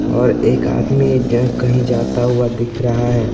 और एक आदमी कहीं जाता हुआ दिख रहा है।